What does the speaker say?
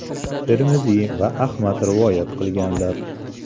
Termiziy va Ahmad rivoyat qilganlar.